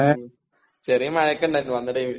ഉം ചെറിയ മഴയൊക്കെ ഇണ്ടായിരുന്നു വന്ന ടൈമില്.